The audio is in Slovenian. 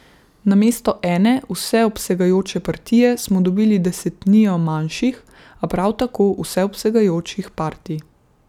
Namesto ene vseobsegajoče partije smo dobili desetnijo manjših, a prav tako vseobsegajočih partij.